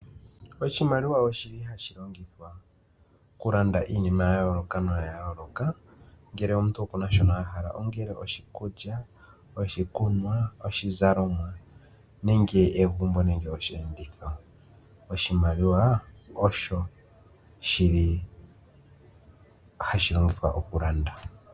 Oshimaliwa oshili hashi longithwa oku landa iinima ya yooloka noya yooloka, ngele omuntu oku na shono a hala ongele oshikulya, oshikunwa, oshizalomwa nenge egumbo nenge osheenditho. Oshimaliwa osho shili hashi longithwa oku landa.